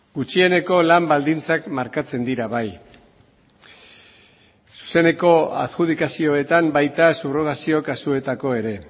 gutxieneko lan baldintzak markatzen dira bai zuzeneko adjudikazioetan baita subrogazio kasuetako ere